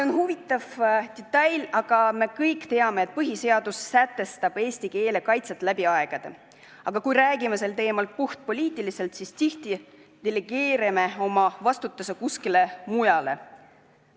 On huvitav detail, et me kõik teame, et põhiseadus sätestab eesti keele kaitse läbi aegade, aga kui räägime sel teemal puhtpoliitiliselt, siis tihti delegeerime oma vastutuse kuskile mujale.